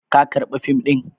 Ka karɓa fim ɗin?